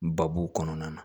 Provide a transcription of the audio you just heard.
Babu kɔnɔna na